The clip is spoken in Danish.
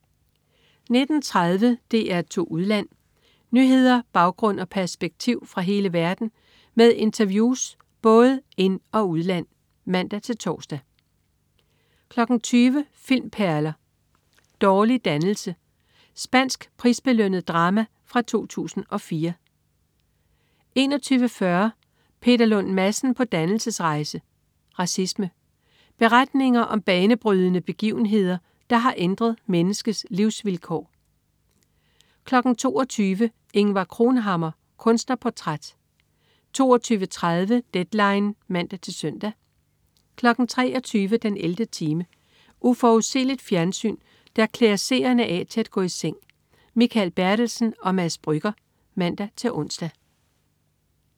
19.30 DR2 Udland. Nyheder, baggrund og perspektiv fra hele verden med interviews fra både ind- og udland (man-tors) 20.00 Filmperler: Dårlig dannelse. Spansk prisbelønnet drama fra 2004 21.40 Peter Lund Madsen på dannelsesrejse. Racisme. Beretninger om banebrydende begivenheder, der har ændret menneskets livsvilkår 22.00 Ingvar Cronhammar. Kunstnerportræt 22.30 Deadline (man-søn) 23.00 den 11. time. Uforudsigeligt fjernsyn, der klæder seerne af til at gå i seng. Mikael Bertelsen og Mads Brügger (man-ons)